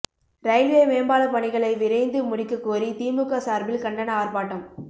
railway மேம்பால பணிகளை விரைந்து முடிக்கக்கோரி திமுக சார்பில் கண்டன ஆர்ப்பாட்டம்